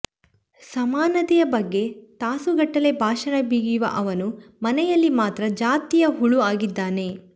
ಸಮಾನತೆಯ ಬಗ್ಗೆ ತಾಸುಗಟ್ಟಲೆ ಭಾಷಣ ಬಿಗಿಯುವ ಅವನು ಮನೆಯಲ್ಲಿ ಮಾತ್ರ ಜಾತೀಯ ಹುಳು ಆಗಿದ್ದಾನೆ